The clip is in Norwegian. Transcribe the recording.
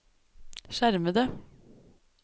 skjermede